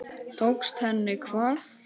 Tókst henni hvað?